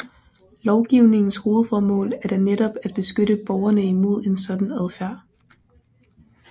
Lovgivningens hovedformål er da netop at beskytte borgerne imod en sådan adfærd